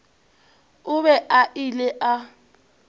o be a ile a